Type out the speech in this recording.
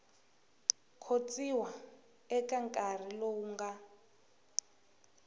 khotsiwa eka nkarhi lowu nga